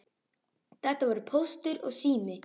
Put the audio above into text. Þetta voru Póstur og Sími.